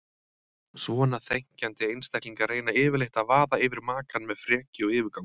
Svona þenkjandi einstaklingar reyna yfirleitt að vaða yfir makann með frekju og yfirgangi.